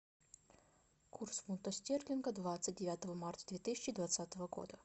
курс фунта стерлинга двадцать девятого марта две тысячи двадцатого года